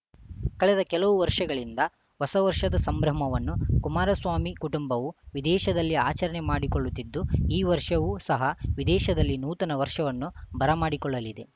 ಕಳೆದ ಕೆಲವು ವರ್ಷಗಳಿಂದ ಹೊಸ ವರ್ಷದ ಸಂಭ್ರಮವನ್ನು ಕುಮಾರಸ್ವಾಮಿ ಕುಟುಂಬವು ವಿದೇಶದಲ್ಲಿ ಆಚರಣೆ ಮಾಡಿಕೊಳ್ಳುತ್ತಿದ್ದು ಈ ವರ್ಷವೂ ಸಹ ವಿದೇಶದಲ್ಲಿ ನೂತನ ವರ್ಷವನ್ನು ಬರಮಾಡಿಕೊಳ್ಳಲಿದೆ